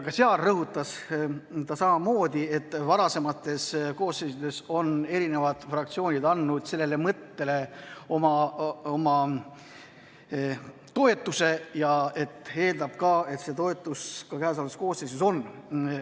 Ka seal rõhutas ta samamoodi, et varasemates koosseisudes on erinevad fraktsioonid andnud sellele mõttele oma toetuse ja et ta eeldab, et see toetus ka käesolevas koosseisus on.